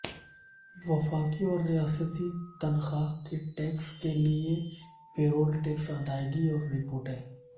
وفاقی اور ریاستی تنخواہ کے ٹیکس کے لئے پے رول ٹیکس ادائیگی اور رپورٹیں